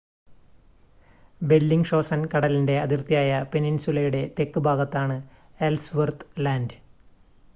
Bellingshausen കടലിൻ്റെ അതിർത്തിയായ പെനിൻസുലയുടെ തെക്ക് ഭാഗമാണ് എൽസ്‌വർത്ത് ലാൻഡ്